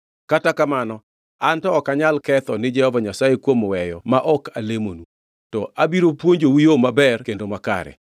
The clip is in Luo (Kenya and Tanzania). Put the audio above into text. Kata kamano, anto ok anyal ketho ni Jehova Nyasaye kuom weyo ma ok alemonu. To abiro puonjou yo maber kendo makare.